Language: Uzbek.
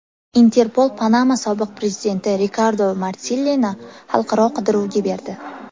Interpol Panama sobiq prezidenti Rikardo Martinellini xalqaro qidiruvga berdi.